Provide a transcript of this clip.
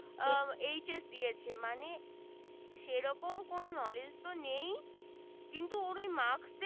এই যে HS মানে সে রকম কোন knowledge তো নেই